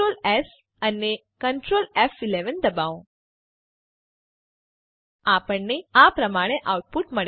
Ctrls અને Ctrl ફ11 દબાવો આપણને આ પ્રમાણે આઉટપુટ મળે છે